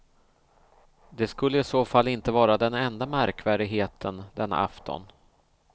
Det skulle i så fall inte vara den enda märkvärdigheten denna afton.